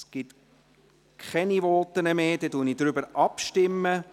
– Es gibt keine Voten mehr, also stimmen wir darüber ab.